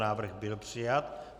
Návrh byl přijat.